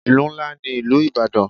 Ìlú ńlá ní ìlú ìbàdàn.